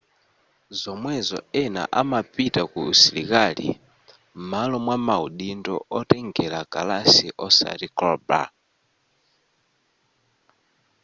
zomwezo ena amapita ku usilikali m'malo mwa maudindo otengera kalasi osati cailaber